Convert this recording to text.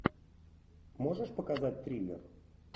можешь показать триллер